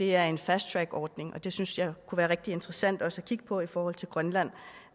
er en fast track ordning og det synes jeg kunne være rigtig interessant også at kigge på i forhold til grønland